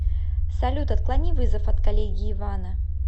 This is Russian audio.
салют отклони вызов от коллеги ивана